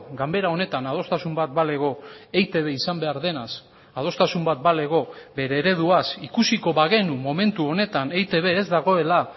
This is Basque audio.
ganbera honetan adostasun bat balego eitb izan behar denaz adostasun bat balego bere ereduaz ikusiko bagenu momentu honetan eitb ez dagoela